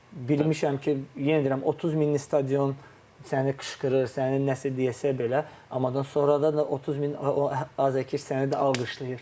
Bilməmişəm ki, yenə deyirəm 30 minlik stadion səni qışqırır, səni nəsə deyəsə belə, ammadan sonra da 30 min azərkeş səni də alqışlayır.